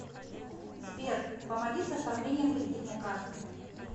сбер помоги с оформлением кредитной карты